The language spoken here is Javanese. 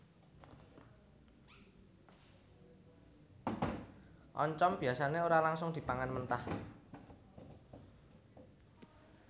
Oncom biasané ora langsung dipangan mentah